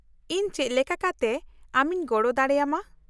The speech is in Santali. -ᱤᱧ ᱪᱮᱫ ᱞᱮᱠᱟ ᱠᱟᱛᱮ ᱟᱢᱤᱧ ᱜᱚᱲᱚ ᱫᱟᱲᱮᱭᱟᱢᱟ ?